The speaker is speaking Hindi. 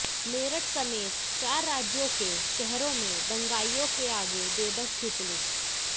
मेरठ समेत चार राज्यों के शहरों में दंगाईयों के आगे बेबस थी पुलिस